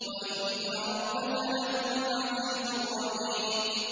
وَإِنَّ رَبَّكَ لَهُوَ الْعَزِيزُ الرَّحِيمُ